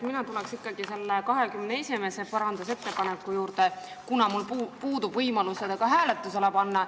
Mina tulen ikkagi 21. parandusettepaneku juurde, kuna mul puudub võimalus seda ka hääletusele panna.